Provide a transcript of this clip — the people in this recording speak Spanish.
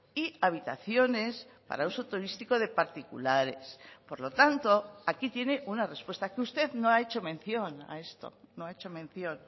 y habitaciones para uso turístico de particulares por lo tanto aquí tiene una respuesta que usted no ha hecho mención a esto no ha hecho mención